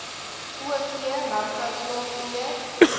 o v landbouplaagbeheer